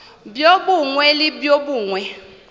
bjo bongwe le bjo bongwe